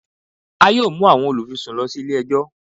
A yoo mu awọn olufisun lọ si ile-ẹjọ